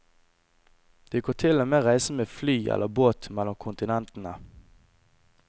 Du kan til og med reise med fly eller båt mellom kontinentene.